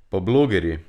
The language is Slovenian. Pa blogerji!